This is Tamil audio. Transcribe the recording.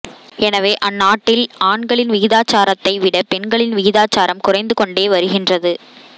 எனவே அந்நாட்டில் ஆண்களின் விகிதாச்சாரத்தை விட பெண்களின் விகிதாச்சாரம் குறைந்து கொண்டே வருகின்றது